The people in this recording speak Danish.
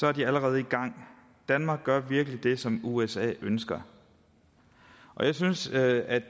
er de allerede i gang danmark gør virkelig det som usa ønsker jeg synes at